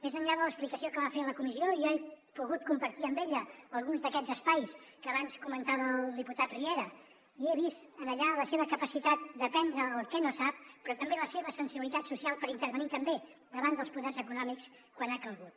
més enllà de l’explicació que va fer a la comissió jo he pogut compartir amb ella alguns d’aquests espais que abans comentava el diputat riera i he vist allà la seva capacitat d’aprendre el que no sap però també la seva sensibilitat social per intervenir també davant dels poders econòmics quan ha calgut